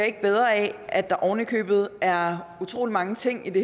ikke bedre af at der ovenikøbet er utrolig mange ting i det